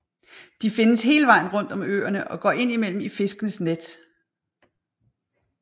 De findes hele vejen rundt om øerne og går indimellem i fiskernes net